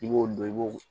I b'o dɔn i b'o